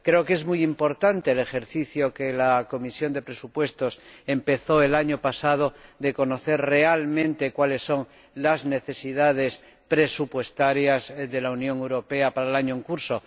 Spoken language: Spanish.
Creo que es muy importante la labor que la Comisión de Presupuestos empezó el año pasado, consistente en conocer realmente cuáles son las necesidades presupuestarias de la Unión Europea para el año en curso.